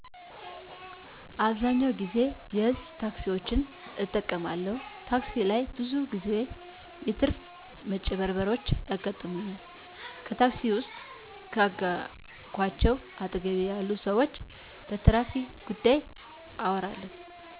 አብዛኛውን ጊዜ የህዝብ ታክሲዎችን እጠቀማለሁ ታክሲ ላይ ብዙ ግዜዎች የታሪፍ መጭበርበሮችያጋጥሙኛል ከታክሲ ውስጥ ከአገኘዃቸው አጠገቤ ያሉ ሰዎች በታሪፍ ጉዳይ አወራለሁ